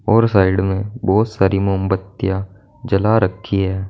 और साइड में बोहोत सारी मामबत्तियां जला रखी हैं।